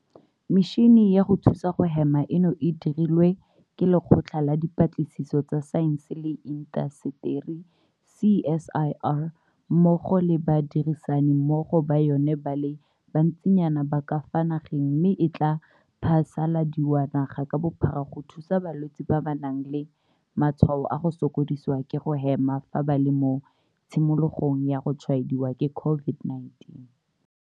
Metšhini ya go thusa go hema eno e dirilwe ke Lekgotla la Dipatlisiso tsa Saense le Intaseteri CSIR mmogo le badirisani mmogo ba yona ba le bantsinyana ba ka fa nageng mme e tla phasaladiwa naga ka bophara go thusa balwetse ba ba nang le matshwao a go sokodisiwa ke go hema fa ba le mo tshimologong ya go tshwaediwa ke COVID-19.